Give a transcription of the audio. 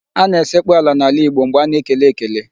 A na-esekpu ala n'ala Igbo mgbe a na-ekele ekele.